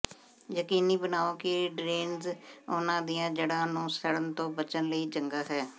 ਯਕੀਨੀ ਬਣਾਓ ਕਿ ਡਰੇਨੇਜ ਉਹਨਾਂ ਦੀਆਂ ਜੜ੍ਹਾਂ ਨੂੰ ਸੜਨ ਤੋਂ ਬਚਣ ਲਈ ਚੰਗਾ ਹੈ